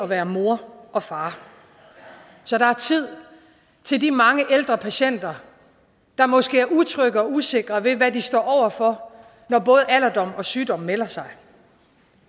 være mor og far så der er tid til de mange ældre patienter der måske er utrygge og usikre ved hvad de står over for når både alderdom og sygdom melder sig